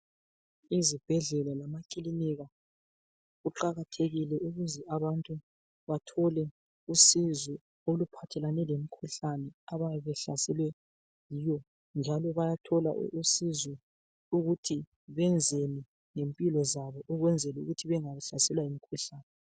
Ezibhendlela lemakilinika kuqakathekile ukuthi abantu bathole usizo oluphathelane lemikhuhlane abayabe behlaselwe yiyo njalo bayathola usizo ngemphilo zabo ukuze bengahlaselwa yimikhuhlane.